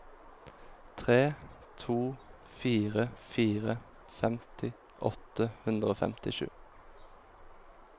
tre to fire fire femti åtte hundre og femtisju